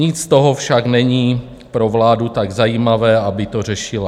Nic z toho však není pro vládu tak zajímavé, aby to řešila.